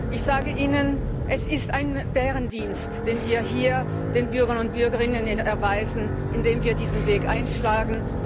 Ich sage Ihnen, es ist ein Bärendienst, den wir hier den Bürgern und Bürgerinnen erweisen, indem wir diesen Weg einschlagen.